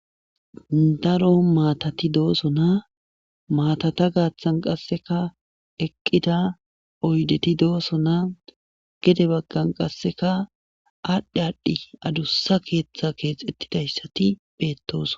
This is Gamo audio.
Daro maatati dooso na maatata gaaththan qasseka eqqida oydeti doosso na gede baggan qasseka aadhdhi aadhdhi adussa keeththa keexettidayssati beettos.